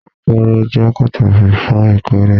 Akọ́rọ́ jẹ́ pàtàkì fún ìkórè